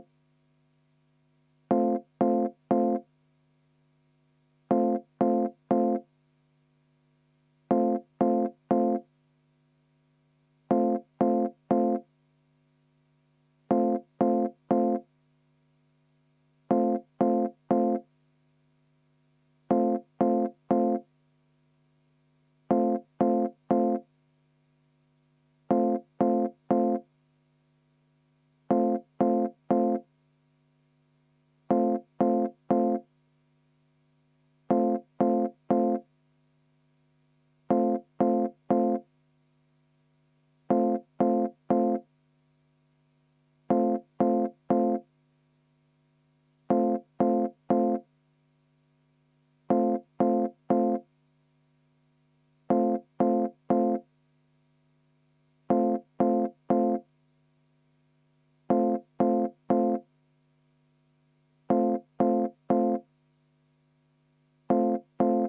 V a h e a e g